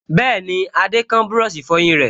Bẹ́ẹ̀ni, Adé kán búrọ̀sì ìfọyín rẹ̀